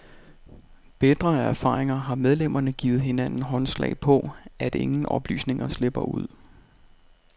Bitre af erfaringer har medlemmerne givet hinanden håndslag på, at ingen oplysninger slipper ud.